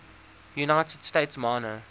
united states minor